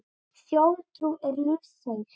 Þjóðtrú er lífseig.